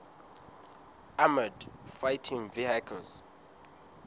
armoured fighting vehicles